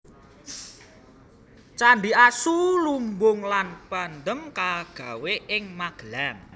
Candhi Asu lumbung lan Pendhem kagawé ing Magelang